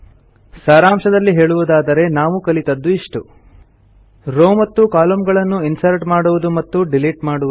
ಸಾರಾಂಶದಲ್ಲಿ ಹೇಳುವುದಾದರೆ ನಾವು ಕಲಿತದ್ದು ಇಷ್ಟು ರೋವ್ ಮತ್ತು ಕಾಲಮ್ನ ಗಳನ್ನು ಇನ್ಸರ್ಟ್ ಮಾಡುವುದು ಮತ್ತು ಡಿಲೀಟ್ ಮಾಡುವುದು